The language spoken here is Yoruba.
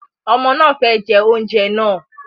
Ọmọ náà fẹ jẹ oúnjẹ náà